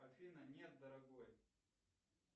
афина нет дорогой